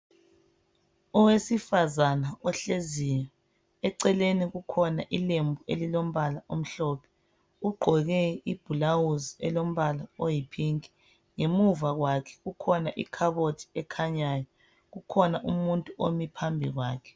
Owesifazana ohleziyo eceleni kukhona ilembu elombala omhlophe, ugqoke ibhulawuzi elombala oyi 'pink', ngemuva kwakhe kukhona ikhabothi ekhanyayo , kukhona umuntu omi phambi kwakhe.